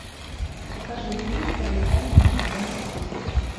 покажи фильм пролетая над гнездом кукушки